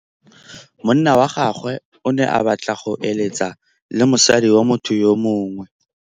Monna wa gagwe o ne a batla go êlêtsa le mosadi wa motho yo mongwe.